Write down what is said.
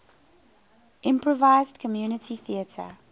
improvised community theatre